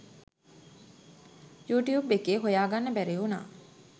YouTube එකේ හොයාගන්න බැරි වුනා.